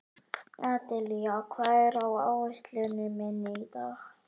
Adelía, hvað er á áætluninni minni í dag?